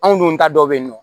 Anw dun ta dɔ be yen nɔ